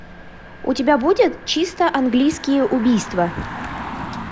у тебя будет чисто английские убийства